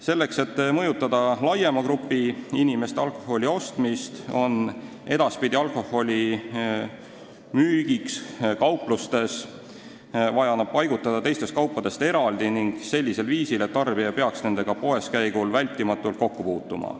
Selleks, et mõjutada laiemat hulka inimesi, on alkohol edaspidi kauplustes vaja paigutada teistest kaupadest eraldi ning sellisel viisil, et tarbija ei peaks sellega poeskäigul vältimatult kokku puutuma.